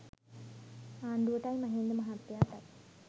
ආණ්ඩුවටයි Mahinda මහත්තයාටයි